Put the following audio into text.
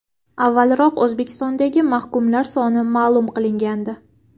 Avvalroq O‘zbekistondagi mahkumlar soni ma’lum qilingandi.